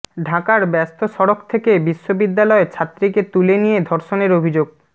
ঢাকার ব্যস্ত সড়ক থেকে বিশ্ববিদ্যালয় ছাত্রীকে তুলে নিয়ে ধর্ষণের অভিযোগ